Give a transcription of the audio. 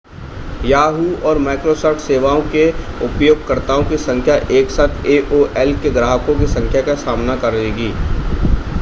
yahoo! और microsoft सेवाओं के उपयोगकर्ताओं की संख्या एकसाथ aol के ग्राहकों की संख्या का सामना करेगी